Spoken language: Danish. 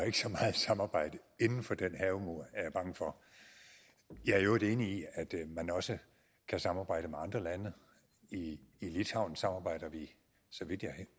ikke så meget samarbejde inden for den havemur er jeg bange for jeg er i øvrigt enig i at man også kan samarbejde med andre lande i litauen samarbejder vi så vidt jeg